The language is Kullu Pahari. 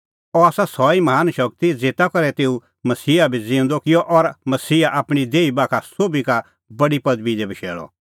अह आसा सह ई महान शगती ज़ेता करै तेऊ मसीहा भी ज़िऊंदअ किअ और मसीहा आपणीं दैहणीं बाखा सोभी का बडी पदबी दी बशैल़अ